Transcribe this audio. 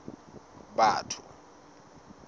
batho